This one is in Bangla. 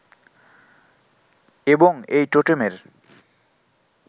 এবং এই টোটেমের